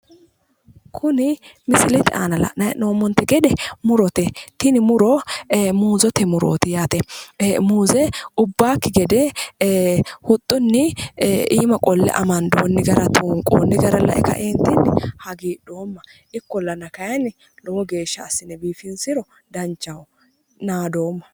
Kuni misilete aana la'nayi he'noomote gede murote tini muro muuzete muroot yaate muuze ubbaaki gede huxxuni iima qolle amanidooni garaa tuuniqooni gara lae ka"eenit hagiidhooma ikkolana kaayinni lowo geesha assine biifinisro danichaho naadooma